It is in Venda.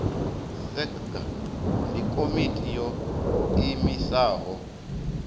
sacga ndi komiti yo iimisaho